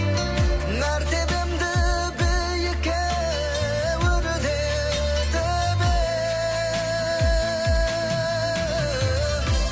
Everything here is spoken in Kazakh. мәртебемді биікке өрлетіп ең